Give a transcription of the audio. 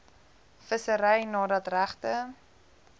vissery nadat regte